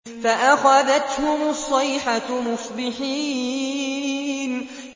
فَأَخَذَتْهُمُ الصَّيْحَةُ مُصْبِحِينَ